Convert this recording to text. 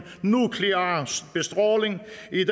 nuklear bestråling